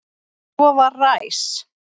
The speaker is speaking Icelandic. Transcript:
Svo var ræs.